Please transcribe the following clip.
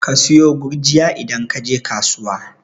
Ka sayo gurjiya idan kaje kasuwa